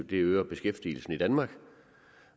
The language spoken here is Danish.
det øger beskæftigelsen i danmark